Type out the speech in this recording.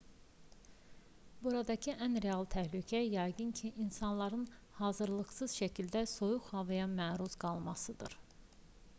buradakı ən real təhlükə yəqin ki insanların hazırlıqsız şəkildə soyuq havaya məruz qalmasıdır